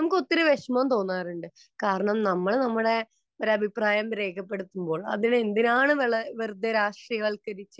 നമുക്ക് ഒത്തിരി വിഷമം തോന്നാറുണ്ട് . കാരണം നമ്മള് നമ്മുടെ ഒരഭിപ്രായം രേഖപ്പെടുത്തുമ്പോൾ അത് എന്തിനാണ് വെറുതെ രാഷ്ട്രീയവൽക്കരിക്കുന്നത്